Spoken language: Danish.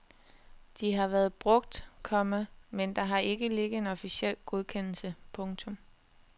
De har været brugt, komma men der har ikke ligget en officiel godkendelse. punktum